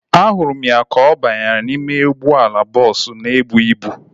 Ahụrụ m ya ka ọ banyere n'ime ụgbọala bọọsu na ebu ịbụ